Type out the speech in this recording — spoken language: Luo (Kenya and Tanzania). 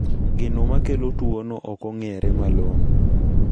Gino makelo tuono okong`ere malong`o.